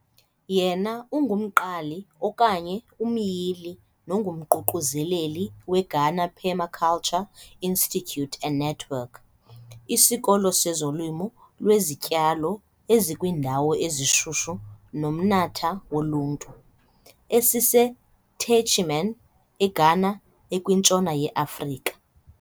Yena ungumqali okanye umyili nomququzeleli weGhana Permaculture Institute and Network, "isikolo sezolimo lwezityalo ezikwiindawo ezishushu "nomnatha woluntu", "esiseTechiman", "eGhana, ekwintshona yeAfrika.